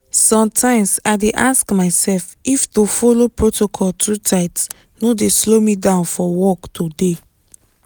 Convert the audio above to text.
sometimes i dey ask myself if to follow protocol too tight no dey slow me down for work today.